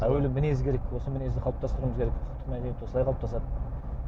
әуелі мінез керек осы мінезді қалыптастыруымыз керек ұлттық мәдениет осылай қалыптасады